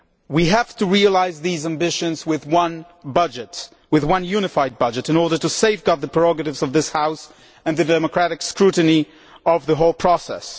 We have to realise these ambitions with one budget with one unified budget in order to safeguard the prerogatives of this House and the democratic scrutiny of the whole process.